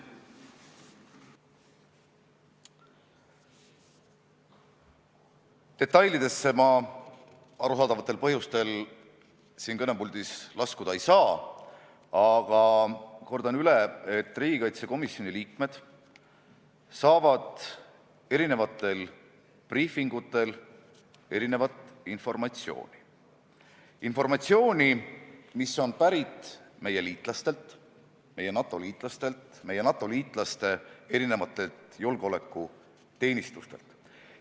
Detailidesse ma arusaadavatel põhjustel siin kõnepuldis laskuda ei saa, aga kordan üle, et riigikaitsekomisjoni liikmed saavad eri briifingutel erinevat informatsiooni, mis on pärit meie liitlastelt, meie NATO-liitlastelt, meie NATO-liitlaste julgeolekuteenistustelt.